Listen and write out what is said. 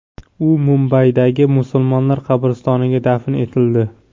U Mumbaydagi musulmonlar qabristoniga dafn etildi.